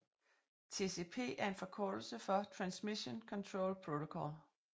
TCP er en forkortelse for Transmission Control Protocol